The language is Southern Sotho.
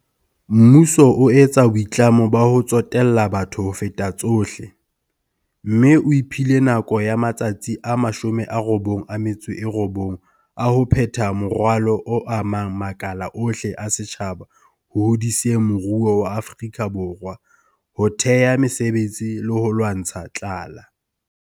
Mmuso o etsa boitlamo ba ho tsotella batho ho feta tsohle, mme o iphile nako ya matsatsi a 100 a ho phetha moralo o amang makala ohle a setjhaba ho hodiseng moruo wa Afrika Borwa, ho thea mesebetsi le ho lwantsha tlala.